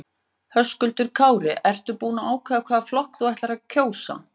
Höskuldur Kári: Ertu búin að ákveða hvaða flokk þú ætlar að kjósa?